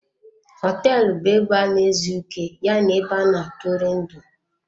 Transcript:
Họteelụ bu ebe ana-ezu ike ya na ebe ana-atụri ndị.